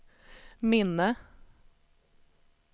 minne